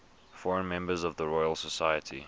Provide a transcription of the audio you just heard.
foreign members of the royal society